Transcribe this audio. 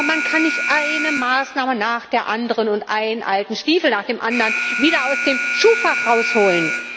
Aber man kann nicht eine Maßnahme nach der anderen und einen alten Stiefel nach dem anderen wieder aus dem Schuhfach herausholen.